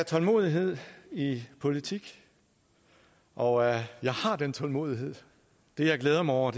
tålmodighed i politik og jeg har den tålmodighed det jeg glæder mig over